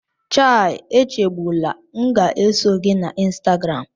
Chai Echegbula!, m ga-eso gị na Instagram